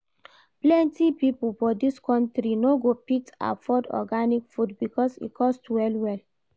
Plenty pipo for dis country no go fit afford organic food because e cost well-well.